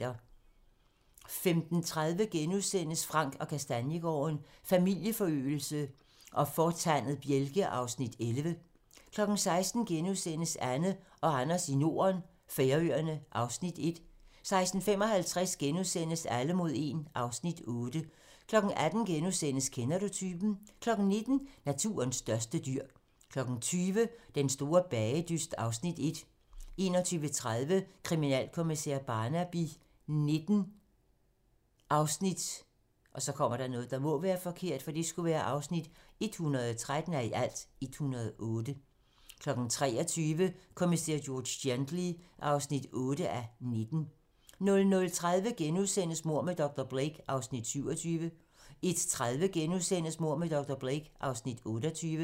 15:30: Frank & Kastaniegaarden – Familieforøgelse og fortandet bjælke (Afs. 11)* 16:00: Anne og Anders i Norden - Færøerne (Afs. 1)* 16:55: Alle mod 1 (Afs. 8)* 18:00: Kender du typen? * 19:00: Naturens største dyr 20:00: Den store bagedyst (Afs. 1) 21:30: Kriminalkommissær Barnaby XIX (113:108) 23:00: Kommissær George Gently (8:19) 00:30: Mord med dr. Blake (Afs. 27)* 01:30: Mord med dr. Blake (Afs. 28)*